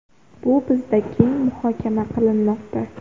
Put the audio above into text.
Bu bizda keng muhokama qilinmoqda.